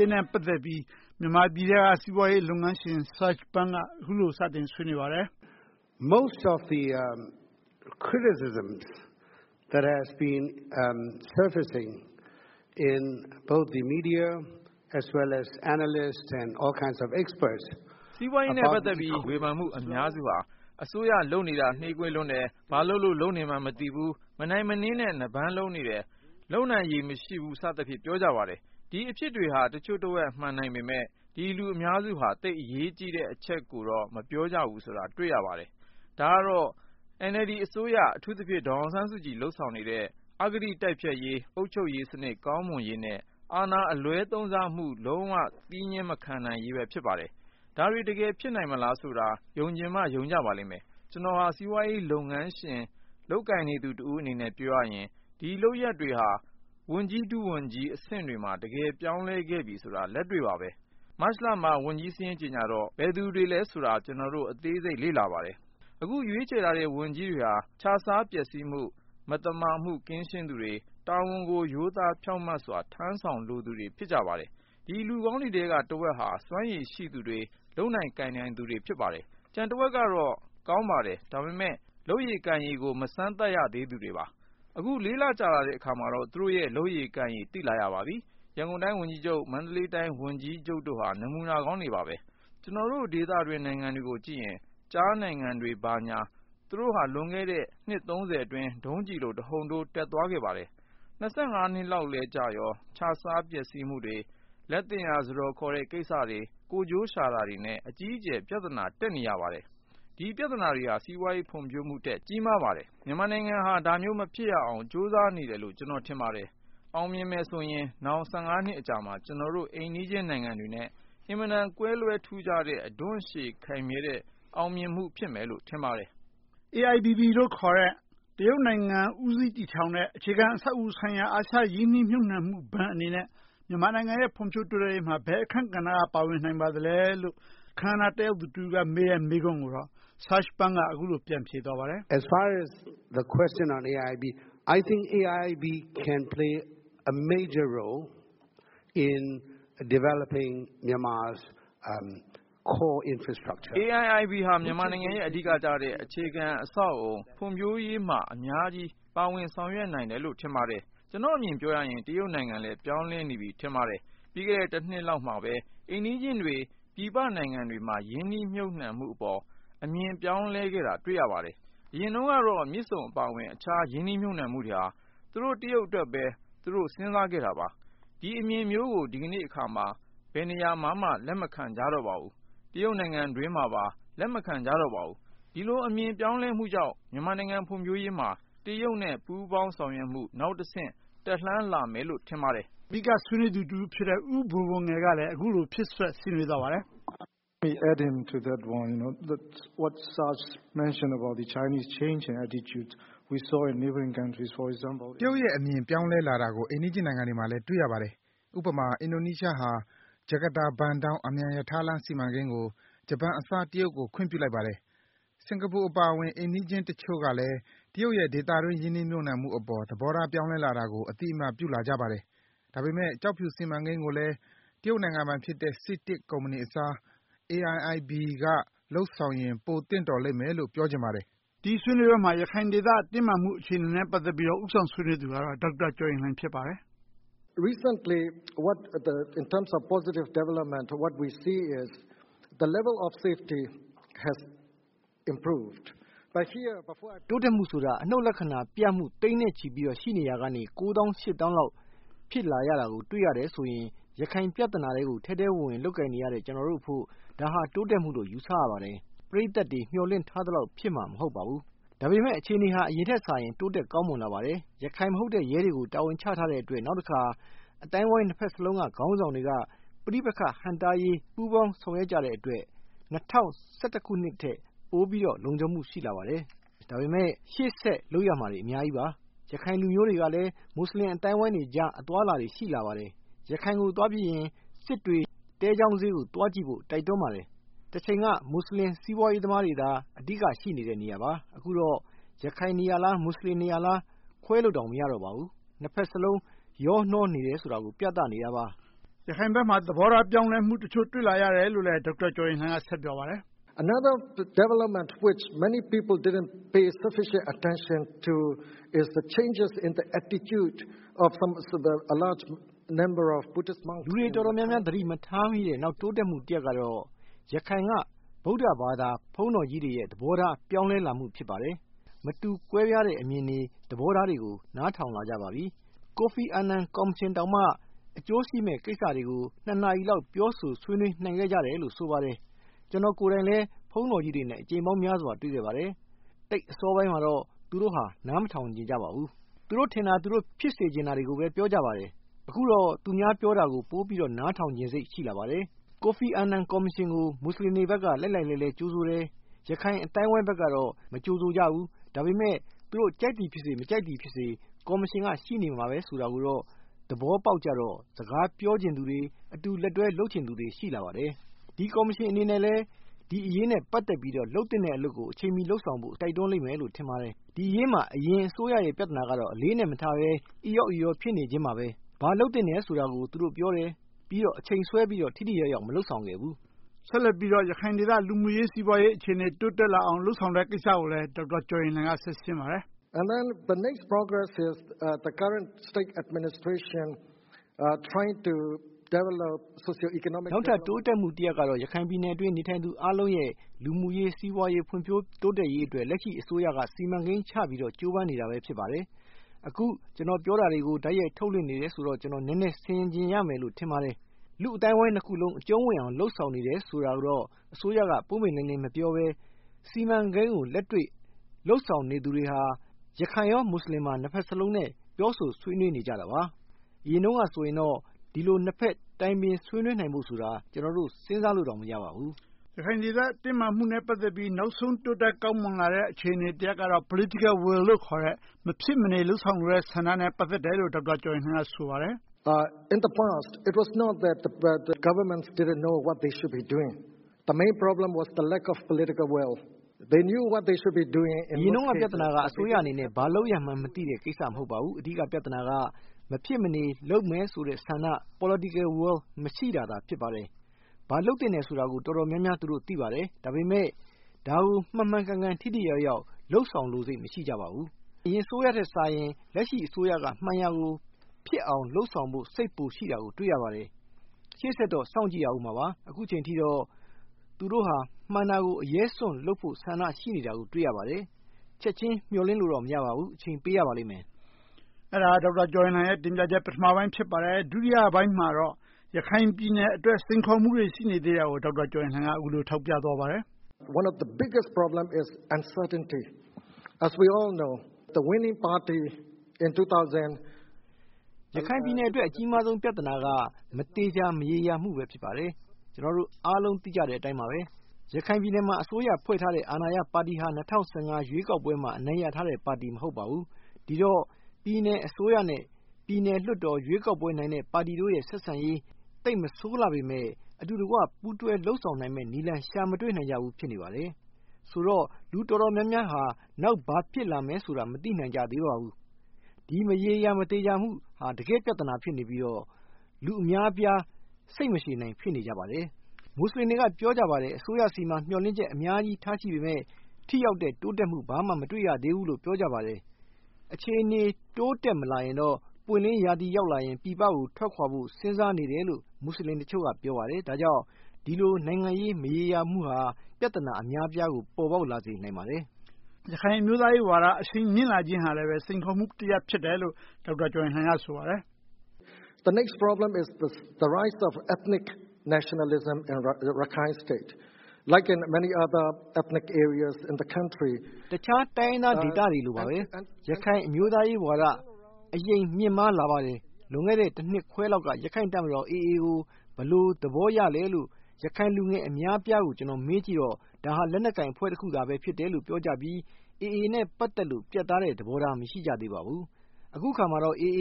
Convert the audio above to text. ရေးနဲ့ ပတ်သက်ပြီး မြန်မာနိုင်ငံထဲက စီးပွားရေးလုပ်ငန်းရှင် Serge Pun က အခုလို စတင်ဆွေးနွေးပါတယ်။ Serge Pun ။ ။ စီးပွားရေးပတ်သက်ပြီး ဝေဖန်မှု အများစုဟာ အစိုးရလုပ်နေတာ နှေးကွေးလွန်း တယ်။ ဘာလုပ်လို့ လုပ်နေမှန်းမသိဘူး။ မနိုင်နင်းနဲ့ နပန်းလုံးနေတယ်။ လုပ်နိုင်ရည်မရှိဘူး စသဖြင့် ပြောကြပါတယ်။ ဒီအဖြစ်တွေက တချို့တဝက် မှန်နိုင်ပေမယ့် ဒီလူအများစုဟာ သိပ်အရေးကြီးတဲ့အချက်ကိုတော့ မပြောကြဘူးဆိုတာ တွေ့ရပါတယ်။ ဒါကတော့ NLD အစိုးရ အထူးသဖြင့် ဒေါ်အောင်ဆန်းစုကြည် လုပ်ဆောင်နေတဲ့ အဂတိတိုက်ဖျက်ရေး၊ အုပ်ချုပ်ရေး စနစ်ကောင်းမွန်ရေးနဲ့ အာဏာအလွဲသုံးစားမှု လုံးဝလက်မခံနိုင်ရေးပဲ ဖြစ်ပါတယ်။ ဒါတွေ တကယ်ဖြစ်နိုင်မလားဆိုတာ ယုံချင်မှ ယုံကြပါလိမ့်မယ်။ ကျနော်ဟာ စီးပွားရေးလုပ်ငန်းရှင် လုပ်ကိုင်နေသူတဦးအနေနဲ့ ပြောရရင် ဒီလုပ်ရပ်တွေဟာ ဝန်ကြီး၊ ဒုဝန်ကြီးအဆင့်တွေမှာ တကယ်ပြောင်းလဲခဲ့ပြီဆိုတာ လက်တွေ့ပါပဲ။ မတ်လမှာ ဝန်ကြီးစာရင်းကြေညာတော့ ဘယ်သူတွေလဲဆိုတာ ကျနော်တို့ အသေးစိတ်လေ့လာပါတယ်။ အခု ရွေးချယ်ထားတဲ့ ဝန်ကြီးတွေဟာ ခြစားပျက်စီးမှု၊ မသမာမှု ကင်းရှင်း သူတွေ၊ တာဝန်ကို ရိုးသားဖြောင့်မတ်စွာ ထမ်းဆောင်လိုသူတွေ ဖြစ်ကြပါတယ်။ ဒီလူကောင်းတွေထဲက တဝက်ဟာ စွမ်းရည်ရှိသူတွေ၊ လုပ်နိုင်ကိုင်နိုင်သူတွေ ဖြစ်ပါတယ်။ ကျန်တဝက်ကတော့ ကောင်းပါတယ်။ ဒါပေမဲ့ လုပ်ရည်ကိုင်ရည်ကို မစမ်းသပ်ရသေးသူတွေပါ။ အခု လေးလကြာလာတဲ့အခါမှာတော့ သူတို့ရဲ့ လုပ်ရည်ကိုင်ရည်တွေကို သိလာရပါပြီ။ ရန်ကုန်တိုင်းဝန်ကြီးချုပ်၊ မန္တလေးတိုင်းဝန်ကြီးချုပ်တို့ဟာ နမူနာကောင်းတွေပါ။ ကျနော်တို့ဒေသတွင်း နိုင်ငံတွေကို ကြည့်လိုက်ရင် ကျားနိုင်ငံတွေ ဘာညာ သူတို့ဟာ လွန်ခဲ့တဲ့ နှစ် အတွင်း ဒုံးကျည်လို တဟုန်ထိုးတက်သွားပါတယ်။ နှစ်လောက်လည်း ကြာရော ခြစားပျက်စီးမှုတွေ၊ လက်သင့်ရာ စားတော်ခေါ်တဲ့ကိစ္စတွေ၊ ကိုယ်ကျိုးရှာတာတွေနဲ့ အကြီးအကျယ် ပြဿနာတက်နေရပါတယ်။ ဒီပြဿနာတွေဟာ စီးပွားရေးဖွံ့ဖြိုးမှုထက် ကြီးမားပါတယ်။ မြန်မာနိုင်ငံဟာ ဒါမျိုးမဖြစ်ရလေအောင် ကြိုးစားနေတယ်လို့ ကျနော်ထင်ပါတယ်။ အောင်မြင်မယ်ဆိုရင် နောင် နှစ်အကြာမှာ အိမ်နီးချင်းနိုင်ငံတွေနဲ့ အင်မတန် ကွဲလွဲထူးခြားတဲ့ အဓွန့်ရှည်ခိုင်မြဲတဲ့ အောင်မြင်မှုဖြစ်မယ်လို့ ထင်ပါတယ်။ ဦးကျော်ဇံသာ ။ ။ AIBB လို့ ခေါ်တဲ့ တရုတ်နိုင်ငံ ဦးစီးတည်ထောင်တဲ့ အခြေခံအဆောက်အအုံ ဆိုင်ရာ အာရှရင်းနှီးမြှုပ်နံှမှုဘဏ်အနေနဲ့ မြန်မာနိုင်ငံရဲ့ ဖွံ့ဖြိုးတိုးတက်ရေးမှာ ဘယ်အခန်းကဏ္ဍ က ပါဝင်နိုင်ပါလဲလို့ အခမ်းအနားတက်ရောက်သူ တဦးကမေးတဲ့ မေးခွန်းကိုတော့ Serge Pun က အခုလို ပြန်ဖြေသွားပါတယ်။ Serge Pun ။ ။ AIBB ဟာ မြန်မာနိုင်ငံရဲ့ အဓိကကျတဲ့ အခြေခံအဆောက်အအုံ ဖွံ့ဖြိုးရေးမှာ အများကြီး ပါဝင်ဆောင်ရွက်နိုင်တယ်လို့ ထင်ပါတယ်။ ကျနော့် အမြင်ပြောရရင် တရုတ်နိုင်ငံလည်း ပြောင်းလဲနေပြီ ထင်ပါတယ်။ ပြီးခဲ့တဲ့ တနှစ်လောက်မှာပဲ အိမ်နီးချင်းတွေ ပြည်ပနိုင်ငံတွေမှာ ရင်းနှီးမြှုပ်နံှမှုအပေါ် အမြင်ပြောင်းလဲခဲ့တာ တွေ့ရပါတယ်။ အရင်တုန်းကတော့ မြစ်ဆုံအပါအဝင် အခြားရင်းနှီး မြှုပ်နံှမှုတွေဟာ သူတို့ တရုတ်အတွက်ပဲ သူတို့ စဉ်းစားခဲ့တာပါ။ ဒီအမြင်မျိုးကို ဒီနေ့အခါမှာ ဘယ်နေရာမှာမှ လက်မခံကြတော့ပါဘူး။ တရုတ်နိုင်ငံအတွင်းမှာပါ လက်မခံကြတော့ပါဘူး။ ဒီလို အမြင်ပြောင်းလဲမှုကြောင့် မြန်မာနိုင်ငံ ဖွံ့ဖြိုးရေးမှာ တရုတ်နဲ့ ပူးပေါင်းဆောင်ရွက်မှု နောက်တဆင့် တက်လှမ်းလာမယ်လို့ ထင်ပါတယ်။ ဦးကျော်ဇံသာ ။ ။ အဓိက ဆွေးနွေးသူတဦးဖြစ်တဲ့ ဦးဘိုဘိုငယ်ကလည်း အခုလို ဖြည့်စွက်ဆွေးနွေးသွားပါတယ်။ ဦးဘိုဘိုငယ် ။ ။ တရုတ်ရဲ့အမြင် ပြောင်းလဲလာတာကို အိမ်နီးချင်းနိုင်ငံတွေမှာလည်း တွေ့ရပါ တယ်။ ဥပမာ အင်ဒိုနီးရှားဟာ ဂျကာတာ-ဘန်ဒေါင်း အမြန်ရထားလမ်းစီမံကိန်းကို ဂျပန်အစား တရုတ်ကို ခွင့်ပြုလိုက်ပါတယ်။ စင်္ကာပူအပါအဝင် အိမ်နီးချင်းတချိုု့ကလည်း တရုတ်ရဲ့ ဒေသတွင်း ရင်းနှီးမြှုပ်နံှမှုအပေါ် သဘောထားပြောင်းလဲလာတာကို အသိအမှတ် ပြုလာကြပါ တယ်။ ဒါပေမယ့်ကျောက်ဖြူစီမံကိန်းကိုလည်း တရုတ်နိုင်ငံပိုင်ဖြစ်တဲ့ စီတစ်ကုမ္ပဏီအစား AIBB က လုပ်ဆောင်ရင် ပိုသင့်လျော်လိမ့်မယ်လို့ ပြောချင်ပါတယ်။ ဦးကျော်ဇံသာ ။ ။ ဒီဆွေးနွေးပွဲမှာ ရခိုင်ဒေသတင်းမာမှုနဲ့ ပတ်သက်ပြီးတော့ ဦးဆောင်ဆွေးနွေး သူကတော့ ဒေါက်တာကျော်ရင်လှိုင် ဖြစ်ပါတယ်။ ဒေါက်တာကျော်ရင်လှိုင် ။ ။ တိုးတက်မှုဆိုတာ အနုတ်လက္ခဏာပြမှု သိန်းနဲ့ချီပြီ ရှိနေရာကနေ ကိုးသောင်းရှစ်သောင်းလောက် ဖြစ်လာခဲ့ တာကို တွေ့ရတယ်ဆိုရင် ရခိုင်ပြဿနာထဲကို ထဲထဲဝင်ဝင် လုပ်ကိုင်နေရတဲ့ ကျနော်တို့အဖို့ ဒါဟာ တိုးတက်မှုလို့ ယူဆရပါတယ်။ ပရိသတ်တွေ မျှော်လင့်ထားသလောက် ဖြစ်လာမှာ မဟုတ်ပါဘူး။ ဒါပေမယ့် အခြေအနေက အရင်ထက်စာရင် တိုးတက်ကောင်းမွန်လာ ပါတယ်။ ရခိုင်မဟုတ်တဲ့ ရဲတွေကို တာဝန်ချထားတဲ့ အတွက် နောက်တခါ အသိုင်းအဝိုင်းနှစ်ဘက်စလုံးက ခေါင်းဆောင်တွေက ပဋိပက္ခ ဟန့်တားရေး ပူးပေါင်းဆောင်ရွက်ကြတဲ့အတွက် ၂၀၁၁ ခုနှစ်ထက် ပိုပြီးတော့ လုံခြုံမှု ရှိလာပါတယ်။ ဒါပေမဲ့ ရှေ့ဆက်လုပ်ရမှာတွေ အများကြီးပါ။ ရခိုင်လူမျိုးတွေကလည်း မွတ်ဆလင် အသိုင်း အဝိုင်းတွေ ကြား အသွားအလာတွေ ရှိလာပါတယ်။ ရခိုင်ကို သွားပြီးရင် စစ်တွေ သဲချောင်းဈေး ကို သွားကြည့်ဖို့ တိုက်တွန်းပါတယ်။ တချိန်က မွတ်ဆလင်စီးပွားရေးသမားတွေသာ အဓိက ရှိနေတဲ့ နေရာပါ။ အခုတော့ ရခိုင်နေရာလား၊ မွတ်ဆလင်နေရာလား ခွဲလို့တောင် မရတော့ ပါဘူး။ နှစ်ဘက်စလုံး ရောနှောနေတယ်ဆိုတာကို ပြသနေတာပါ။ ဦးကျော်ဇံသာ ။ ။ ရခိုင်ဘက်မှာ သဘောထားပြောင်းလဲမှု တချို့ တွေ့လာရတယ် လို့လည်း ဒေါက်တာကျော်ရင်လှိုင် က ဆက်ပြောပါတယ်။ ဒေါက်တာကျော်ရင်လှိုင် ။ ။ လူတွေတော်တော်များများ သတိမထားမိတဲ့ နောက်တိုးတက်မှု တရပ်ကတော့ ရခိုင်က ဗုဒ္ဓဘာသာ ဘုန်းတော်ကြီးတွေ သဘောထား ပြောင်းလဲလာပါတယ်။ မတူကွဲပြားတဲ့အမြင်တွေ၊ သဘောထားတွေကို နားထောင်လာကြပါပြီ။ ကိုဖီအာန်နန်ကော်မရှင်တောင်မှ အကျိုးရှိမယ့်ကိစ္စတွေကို နှစ်နာရီလောက် ပြော ဆို ဆွေးနွေးနိုင်ခဲ့ကြတယ်လို့ ဆိုပါတယ်။ ကျနော်ကိုယ်တိုင်လည်း ဘုန်းတော်ကြီးတွေနဲ့ အကြိမ်ပေါင်းများစွာ တွေ့ခဲ့ပါတယ်။ အစောပိုင်းမှာတော့ သူတို့ဟာနားမထောင်ချင်ကြပါဘူး။ သူတို့ထင်တာ၊ သူတို့ ဖြစ်စေချင်တာတွေကိုပဲ ပြောကြပါတယ်။ အခုတော့ သူများပြောတာကို ပိုပြီးနားထောင်ချင်စိတ် ပိုရှိလာပါတယ်။ ကိုဖီအာနန် ကော်မရှင်ကို မွတ်ဆလင်တွေဘက်က လှိုက်လှိုက်လဲှလှဲ ကြိုဆိုတယ်။ ရခိုင်အသိုင်းအဝိုင်းဘက်ကတော့ မကြိုဆိုကြဘူး။ ဒါပေမဲ့ သူတို့ ကြိုက်သည်ဖြစ်စေ၊ မကြိုက်သည်ဖြစ်စေ ကော်မရှင်ကရှိနေမယ်ဆိုတာကိုတော့ သဘောပေါက်ကြတော့ စကားပြောချင်သူတွေ အတူလက်တွဲလုပ်ချင်သူတွေ ရှိလာပါတယ်။ ဒီကော်မရှင်အနေနဲ့လည်း ဒီအရေးနဲ့ ပတ်သက်ပြီးတော့ လုပ်သင့်တဲ့အလုပ်ကို အချိန်မီ လုပ်ဆောင်ဖို့ တိုက်တွန်းလိမ့်မယ်လို့ ထင်ပါတယ်။ ဒီအရေးမှာ အရင်အစိုးရရဲ့ ပြဿနာကတော့ အလေးအနက်မထားဘဲ အီရော့အီရော ဖြစ်နေခြင်းပါပဲ။ ဘာလုပ်သင့်ဖို့ဆိုတာကို သူတို့ပြောတယ်။ ပြီးတော့ အချိန်ဆွဲပြီးတော့ ထိထိရောက်ရောက် မလုပ်ဆောင်ခဲ့ဘူး။ ဦိးကျော်ဇံသာ ။ ။ ဆက်လက်ပြီးတော့ ရခိုင်ဒေသ စီးပွားရေး၊ လူမှုရေး အခြေအနေ တိုးတက်လာအောင် လုပ်ဆောင်တဲ့ကိစ္စကို ဒေါက်တာကျော်ရင်လှိုင် က ဆက်ရှင်းပါတယ်။ ဒေါက်တာကျော်ရင်လှိုင် ။ ။ နောက်ထပ်တိုးတက်မှုတရပ်ကတော့ ရခိုင်ဒေသအတွင်း နေထိုင်သူအားလုံးရဲ့ လူမှုရေး၊ စီးပွားရေး ဖွံ့ဖြိုး တိုးတက်ရေးအတွက် လက်ရှိအစိုးရက စီမံကိန်းချပြီးတော့ ကြိုးပမ်းနေတာပဲ ဖြစ်ပါတယ်။ အခု ပြောနေတာတွေကို တိုက်ရိုက်ထုတ်လွှင့် နေတယ်ဆိုတော့ ကျနော် နည်းနည်းဆင်ခြင်ရမယ်လို့ ထင်ပါတယ်။ လူ့အသိုင်းအဝိုင်းနှစ်ခုလုံး အကျုံးဝင်အောင် လုပ်ဆောင်နေတယ် ဆိုတာကိုတော့ အစိုးက ပွင့်ပွင့်လင်းလင်း မပြောဘဲ စီမံကိန်းကို လက်တွေ့လုပ်ဆောင်နေသူတွေဟာ ရခိုင်၊ မွတ်ဆလင် နှစ်ဘက်စလုံးနဲ့ ပြောဆိုဆွေးနွေးနေကြတာပါ။ အရင်တုန်းကဆိုရင်တော့ ဒီလို နှစ်ဘက်တိုင်ပင်ဆွေးနွေးနိုင်ဖို့ဆိုတာ ကျနော်တို့ စဉ်းစားလို့တောင် မရပါဘူး။ ဦးကျော်ဇံသာ ။ ။ ရခိုင်ဒေသ တင်းမာမှုနဲ့ ပတ်သက်ပြီး နောက်ဆုံး တိုးတက်ကောင်းမွန်လာတဲ့ အခြေအနေတရပ်ကတော့ Political Will လို့ခေါ်တဲ့ မဖြစ်မနေ လုပ်ဆောင်လိုတဲ့ ဆန္ဒနဲ့ ပတ်သက်တယ်လို့ ဒေါက်တာကျော်ရင်လှိုင် က ဆိုပါတယ်။ ဒေါက်တာကျော်ရင်လှိုင် ။ ။ အရင်တုန်းက ပြဿနာက အစိုးရအနေနဲ့ ဘာလုပ်ရမှန်းမသိတဲ့ကိစ္စ မဟုတ်ပါဘူး။ အဓိက ပြဿနာက မဖြစ်မနေလုပ်မယ်ဆိုတဲ့ ဆန္ဒ Political Will မရှိတာသာ ဖြစ်ပါတယ်။ ဘာလုပ်သင့်တယ်ဆိုတာကို တော်တော်များများ သူတို့ သိပါတယ်။ ဒါပေမယ့် ဒါကို မှန်မှန်ကန်ကန် ထိထိရောက်ရောက် လုပ်ဆောင်လိုစိတ် မရှိကြပါဘူး။ အရင်အစိုးရထက်စာရင် လက်ရှိအစိုးရက မှန်ရာကို ဖြစ်အောင်လုပ်ဆောင်ဖို့ စိတ်ပိုရှိတာကို တွေ့ရပါတယ်။ ရှေ့ဆက်တော့ စောင့်ကြည့်ရပါအုံးမှာပါ။ အခုအချိန်အထိတော့ သူတို့ဟာ မှန်တာကို အရဲစွန့်လုပ်ဖို့ ဆန္ဒရှိနေတာကို တွေ့ရပါတယ်။ ချက်ချင်းမျှော်လင့်လို့တော့ မရပါဘူး။ အချိန်ပေးရပါလိမ့်မယ်။ ဦးကျော်ဇံသာ ။ ။ အဲဒါက ဒေါက်တာကျော်ရင်လှိုင်ရဲ့ ပထမပိုင်း ဖြစ်ပါတယ်။ ဒုတိယပိုင်းမှာတော့ ရခိုင်ပြည်နယ်အတွက် စိန်ခေါ်မှုတွေ ရှိနေသေးတာကို ဒေါက်တာကျော်ရင်လှိုင် က အခုလို ထောက်ပြသွားပါတယ်။ ဒေါက်တာကျော်ရင်လှိုင် ။ ။ ရခိုင်ပြည်နယ်အတွက် အကြီးမားဆုံး ပြဿနာက မသေချာမရေရာမှု ဖြစ်ပါတယ်။ ကျနော်တို့အားလုံး သိကြတဲ့ အတိုင်းပါပဲ၊ ရခိုင်ပြည်နယ်မှာ အစိုးရဖွဲ့ထားတဲ့ အာဏာရပါတီဟာ ၂၀၁၅ ရွေးကောက်ပွဲမှာ အနိုင်ရထားတဲ့ပါတီ မဟုတ်ပါဘူး။ ဒီတော့ ပြည်နယ် အစိုးရနဲ့ ပြည်နယ်လွှတ်တော် ရွေးကောက်ပွဲအနိုင်ရတဲ့ ပါတီတို့ရဲ့ ဆက်ဆံရေး သိပ်မဆိုးလှပေမယ့် အတူတကွ ပူးတွဲလုပ်ဆောင် နိုင်မယ့်နည်းလမ်း ရှာမတွေ့နိုင်ဘူး ဖြစ်နေပါတယ်။ ဆိုတော့ လူတော်တော်များများဟာ နောက်ဘာဖြစ်လာမယ်ဆိုတာ မသိနိုင်ကြသေးပါဘူး။ ဒီမရေရာမသေချာမှုဟာ တကယ့်ပြဿနာ ဖြစ်နေပြီးတော့ လူအများအပြား စိတ်မရှည်နိုင် ဖြစ်နေကြပါတယ်။ မွတ်ဆလင်တွေ အများအပြား က ပြောနေကြပါတယ်၊ အစိုးရဆီမှာ မျှော်လင့်ချက်အများကြီးထားရှိပေမယ့် ထိရောက်တဲ့တိုးတက်မှု ဘာမှမတွေ့ရသေးဘူးလို့ ပြောကြပါ တယ်။ အခြေအနေ တိုးတက်မလာရင်တော့ ပွင့်လင်းရာသီရောက်လာရင် ပြည်ပကို ထွက်ခွာဖို့စဉ်းစားနေတယ်လို့ မွတ်ဆလင်တချို့က ပြောပါတယ်။ ဒါကြောင့် ဒီလို နိုင်ငံရေး မရေရာမှုဟာ ပြဿနာ အများအပြားကို ပေါ်ပေါက်လာစေနိုင်ပါတယ်။ ဦးကျော်ဇံသာ ။ ။ ရခိုင်အမျိုးသားရေးဝါဒ အရှိန်မြင့်လာတာဟာ စိန်ခေါ်မှုတရပ်ဖြစ်တယ်လို့ ဒေါက်တာကျော်ရင်လှိုင်က ဆိုပါတယ်။ ဒေါက်တာကျော်ရင်လှိုင် ။ ။ တခြားတိုင်းရင်းသားဒေသတွေလိုပါပဲ၊ ရခိုင်အမျိုးသားရေးဝါဒ အရှိန်မြင့်မားလာပါတယ်။ လွန်ခဲ့တဲ့ တနှစ်ခွဲ လောက်က ရခိုင်တပ်မတော် AA ကို ဘယ်လို သဘောရလဲလို့ ရခိုင်လူငယ်အများအပြားကို မေးကြည့်တော့ ဒါဟာ လက်နက်ကိုင်အဖွဲ့ တခုသာလို့ ပြောကြပြီး AA နဲ့ ပတ်သက်လို့ ပြတ်သားတဲ့ သဘောထား မရှိကြသေးပါဘူး။ အခုအခါမှာတော့ AA